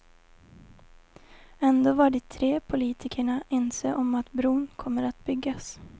Ändå var de tre politikerna ense om att bron kommer att byggas.